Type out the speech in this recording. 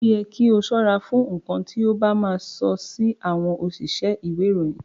O yẹ kí o ṣọ́ra fún nkán ti o ba ma sọ si àwọn òṣìṣẹ́ ìwé ìròyìn.